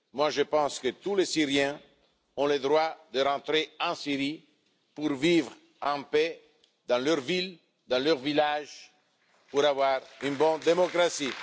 Moi, je pense que tous les Syriens ont le droit de rentrer en Syrie pour vivre en paix dans leur ville ou leur village et pour bénéficier d'une bonne démocratie.